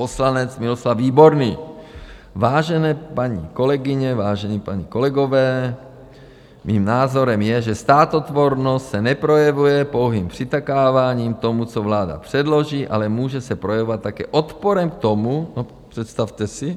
Poslanec Miloslav Výborný: Vážené paní kolegyně, vážení páni kolegové, mým názorem je, že státotvornost se neprojevuje pouhým přitakáváním tomu, co vláda předloží, ale může se projevovat také odporem k tomu - no představte si,